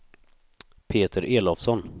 Peter Elofsson